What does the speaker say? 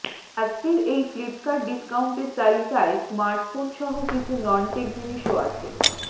আজকের এই ফ্লিপকার্ট ডিস্কাউন্টের তালিকায় স্মার্টফোন সহ কিছু ননটেক জিনিসও আছে